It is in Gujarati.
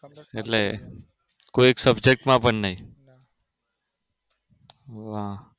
એટલે કોઈ subject માં પણ નહિ હા